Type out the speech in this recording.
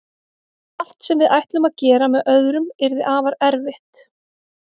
Allt sem við ætlum að gera með öðrum yrði afar erfitt.